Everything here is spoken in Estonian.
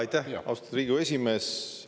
Aitäh, austatud Riigikogu esimees!